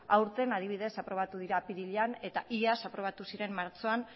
aurten adibidez aprobatu dira apirilean eta iaz aprobatu ziren martxoan